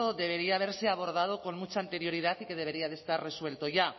debería haberse abordado con mucha anterioridad y que debería estar resuelto ya